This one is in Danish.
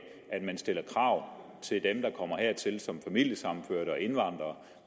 at man stiller krav til dem der kommer hertil som familiesammenførte og indvandrere